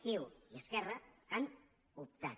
ciu i esquerra han optat